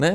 Ne?